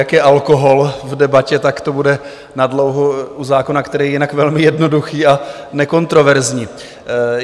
Jak je alkohol v debatě, tak to bude na dlouho u zákona, který je jinak velmi jednoduchý a nekontroverzní.